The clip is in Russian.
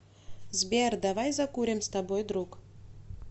сбер давай закурим с тобой друг